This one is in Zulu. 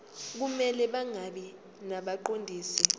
kumele bangabi ngabaqondisi